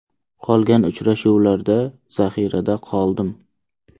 Qolgan uchrashuvlarda zaxirada qoldim.